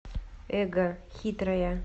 эго хитрая